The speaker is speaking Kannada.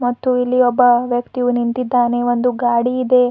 ಮತ್ತು ಇಲ್ಲಿ ಒಬ್ಬ ವ್ಯಕ್ತಿಯು ನಿಂತಿದ್ದಾನೆ ಒಂದು ಗಾಡಿ ಇದೆ.